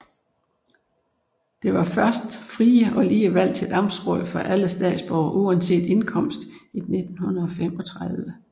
Der var først frie og lige valg til amtsråd for alle statsborgere uanset indkomst i 1935